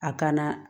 A kana